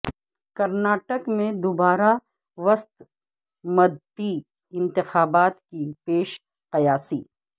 کرناٹک میں دوبارہ وسط مدتی انتخابات کی پیش قیاسی